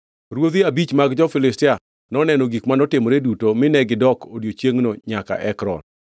Ruodhi abich mag jo-Filistia noneno gik manotimore duto mine gidok odiechiengno nyaka Ekron.